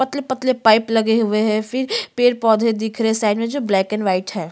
पतले -पतले पाइप लगे हुए है फिर पेड़ -पौधे दिख रहै है साइड में जो ब्लैक एन वाइट हैं।